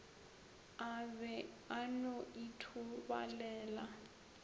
a be a no ithobalela